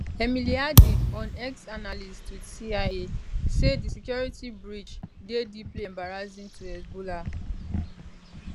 emily harding on exanalyst with cia say di security breach dey deeply embarrassing to hezbollah